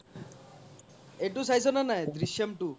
এইতো চাইছো নে নাই দ্ৰিশ্যাম two